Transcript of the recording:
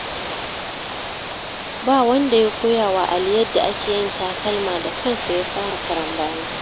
Ba wanda ya koya wa Ali yadda ake yin takalma, da kansa ya fara karambani.